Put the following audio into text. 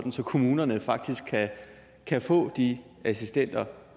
kommunerne faktisk kan få de assistenter